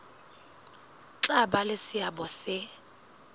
tla ba le seabo se